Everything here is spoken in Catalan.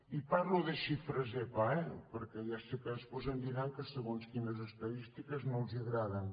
i parlo de xifres epa eh perquè ja sé que després em diran que segons quines estadístiques no els agraden